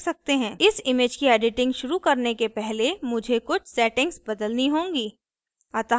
इस image की editing शुरू करने के पहले मुझे कुछ settings बदलनी होंगी